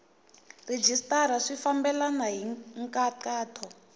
rhejisitara swi fambelena hi nkhaqato